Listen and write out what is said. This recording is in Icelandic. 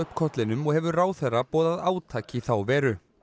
kollinum og hefur ráðherra boðað átak í þá veru